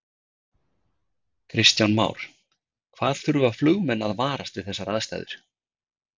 Kristján Már: Hvað þurfa flugmenn að varast við þessar aðstæður?